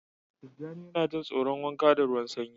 Tijjani yana jin tsoron wanka da ruwan sanyi